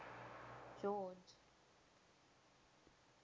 george